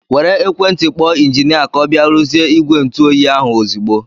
Were ekwentị kpọọ injinia ka ọ bịa ruzie ìgwè ntụ oyi ahụ ozigbo!!!!